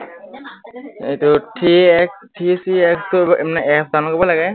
এইটো three x three three x আহ মানে আহ app download কৰিব লাগে